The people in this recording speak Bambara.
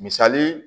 Misali